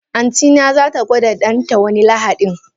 Antina zata gwada danta wani lahadin.